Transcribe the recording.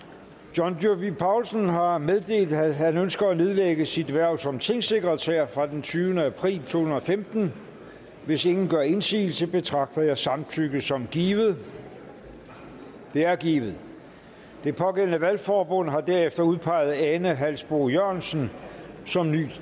john dyrby paulsen har meddelt at han ønsker at nedlægge sit hverv som tingsekretær fra den tyvende april to tusind og femten hvis ingen gør indsigelse betragter jeg samtykket som givet det er givet det pågældende valgforbund har derefter udpeget ane halsboe jørgensen som ny